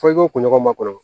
Fɔ i ko kunɲɔgɔn ma kɔrɔ